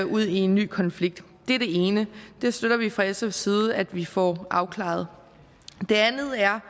ud i en ny konflikt det er det ene det støtter vi fra sfs side at vi får afklaret det andet er